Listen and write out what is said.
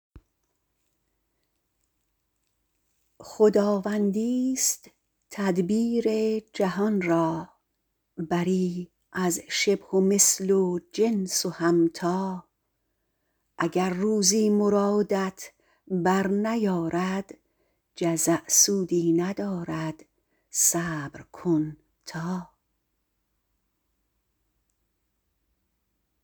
خداوندی ست تدبیر جهان را بری از شبه و مثل و جنس و هم تا اگر روزی مرادت بر نیارد جزع سودی ندارد صبر کن تا